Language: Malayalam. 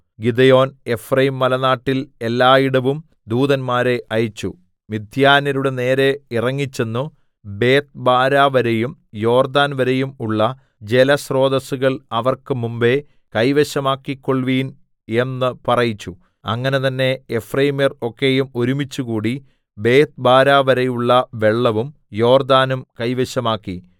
ഗിദെയോൻ എഫ്രയീംമലനാട്ടിൽ എല്ലായിടവും ദൂതന്മാരെ അയച്ചു മിദ്യാന്യരുടെ നേരെ ഇറങ്ങിച്ചെന്നു ബേത്ത്ബാരാ വരെയും യോർദ്ദാൻ വരെയും ഉള്ള ജലസ്രോതസ്സുകൾ അവർക്ക് മുമ്പെ കൈവശമാക്കിക്കൊൾവിൻ എന്ന് പറയിച്ചു അങ്ങനെ തന്നേ എഫ്രയീമ്യർ ഒക്കെയും ഒരുമിച്ചുകൂടി ബേത്ത്ബാരാ വരെയുള്ള വെള്ളവും യോർദ്ദാനും കൈവശമാക്കി